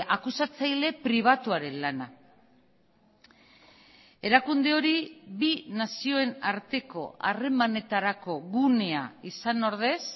akusatzaile pribatuaren lana erakunde hori bi nazioen arteko harremanetarako gunea izan ordez